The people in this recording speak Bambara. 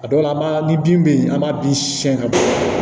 A dɔw la an b'a ni bin bɛ yen an b'a bin siyɛn ka bɔ